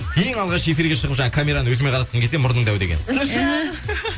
ең алғаш эфирге шығып жаңағы камераны өзіме қаратқым келсе мұрның дәу деген